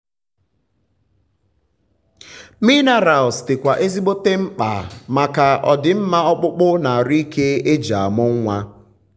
minerals di kwa ezigbote mkpa maka ọdimma ọkpụkpụ na arụ ike eji amụ nwa